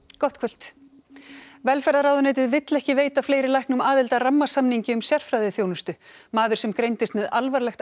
gott kvöld velferðarráðuneytið vill ekki veita fleiri læknum aðild að rammasamningi um sérfræðiþjónustu maður sem greindist með alvarlegt